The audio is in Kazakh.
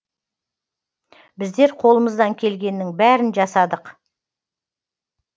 біздер қолымыздан келгеннің бәрін жасадық